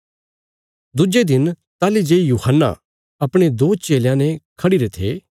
दुज्जे दिन ताहली जे यूहन्ना अपणे दो चेलयां ने खढ़िरे थे